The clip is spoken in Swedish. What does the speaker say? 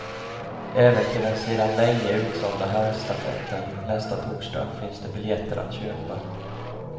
Även till den sedan länge utsålda herrstafetten nästa torsdag finns det biljetter att köpa.